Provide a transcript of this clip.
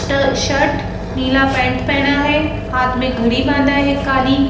T-shirt नीला pant पहना है हाथ में घड़ी बांधा है काली।